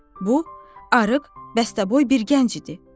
Bu, arıq, bəstəboy bir gənc idi.